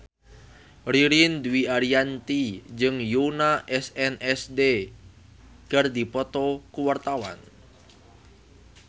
Ririn Dwi Ariyanti jeung Yoona SNSD keur dipoto ku wartawan